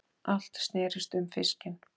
Allt snerist um fiskinn.